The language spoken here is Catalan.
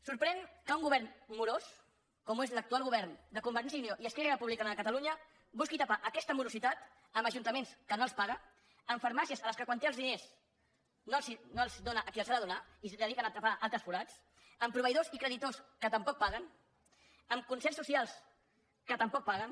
sorprèn que un govern morós com ho és l’actual govern de convergència i unió i esquerra republicana de catalunya busqui tapar aquesta morositat amb ajuntaments que no els paga amb farmàcies a les quals quan té els diners no els dóna a qui els ha de donar i els dediquen a tapar altres forats amb proveïdors i creditors que tampoc paguen amb concerts socials que tampoc paguen